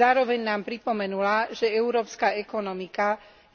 Zároveň nám pripomenula, že európska ekonomika